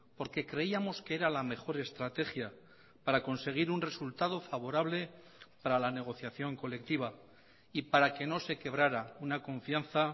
porque creíamos que era la mejor estrategia para conseguir un resultado favorable para la negociación colectiva y para que no se quebrara una confianza